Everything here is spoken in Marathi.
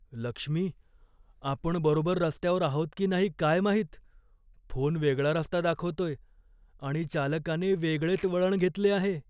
लक्ष्मी, आपण बरोबर रस्त्यावर आहोत की नाही काय माहित. फोन वेगळा रस्ता दाखवतोय आणि चालकाने वेगळेच वळण घेतले आहे.